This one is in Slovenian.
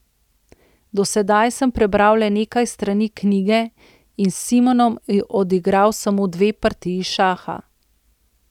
Do sedaj sem prebral le nekaj strani knjige in s Simonom odigral samo dve partiji šaha.